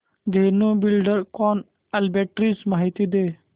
Dhenu Buildcon arbitrage माहिती दे